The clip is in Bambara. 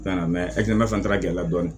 Na fana gɛlɛya dɔɔnin